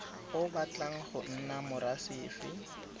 o batlang go nna morasefe